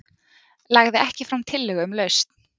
Lagði ekki fram tillögu um lausn